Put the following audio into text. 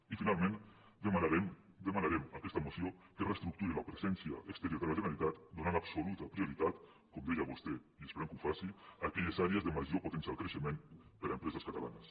i finalment demanarem en aquesta moció que es reestructuri la presència exterior de la generalitat donant absoluta prioritat com deia vostè i esperem que ho faci a aquelles àrees de major potencial creixement per a empreses catalanes